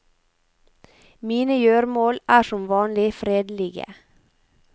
Mine gjøremål er som vanlig fredelige.